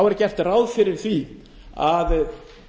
er gert ráð fyrir því að